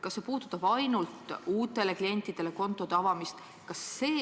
Kas see puudutab ainult uutele klientidele kontode avamist?